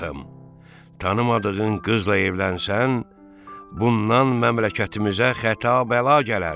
Şahım, tanımadığın qızla evlənsən, bundan məmləkətimizə xəta-bəla gələr.